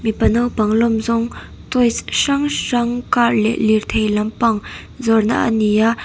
mipa naupang lawm zawng toys hrang hrang car leh lirthei lampang zawrhna ani a.